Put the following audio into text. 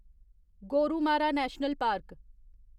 Gorumara national park